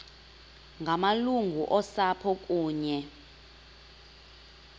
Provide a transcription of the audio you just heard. ngamalungu osapho kunye